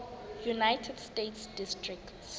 united states district